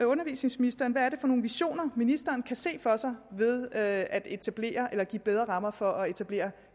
undervisningsministeren hvad det er for nogle visioner ministeren kan se for sig ved at etablere eller give bedre rammer for at etablere